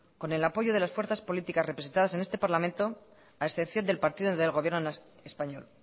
con el apoyo de las fuerzas políticas representadas en este parlamento a excepción del partido del gobierno español